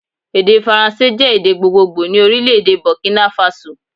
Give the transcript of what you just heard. Èdè faransé jé èdè gbogbogbò ni Orílèdè Bòkínà Fasò